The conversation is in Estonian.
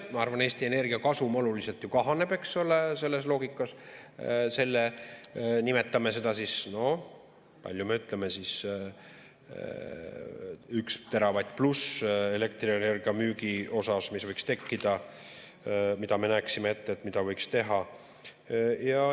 Ma arvan, Eesti Energia kasum oluliselt kahaneb selles loogikas, nimetame seda – no kui palju me ütleme, 1 teravatt pluss elektrienergia müügi puhul, mis võiks tekkida, mida me näeksime ette, et võiks teha.